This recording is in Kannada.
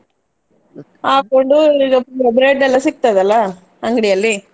ಹಾಕ್ಕೊಂಡು bre~ bread ಎಲ್ಲ ಸಿಗ್ತದಲ್ಲ ಅಂಗಡಿಯಲ್ಲಿ.